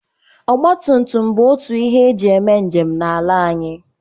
Ọgba tutum bụ otu n'ihe eji eme njem n'ala anyị.